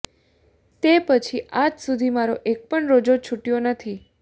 તે પછી આ જ સુધી મારો એક પણ રોઝો છૂટયો નથી